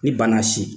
Ni bana si